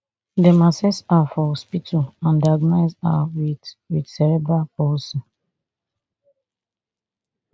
dem assess her for hospital and diagnose her wit wit cerebral palsy